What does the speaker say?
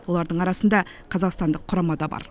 олардың арасында қазақстандық құрама да бар